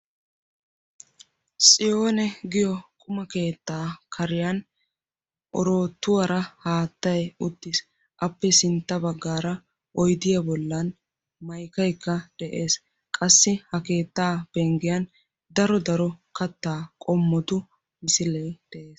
tsiyonne giyo quma keetta kariyan oroottuwaara haattay uttiis, appe sintta baggaar oyddiyaara haattay maykkaykka de'ees, qassi ha keetta penggiya daro daro katta qommotu misiliees de'ees.